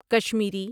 Kashmiri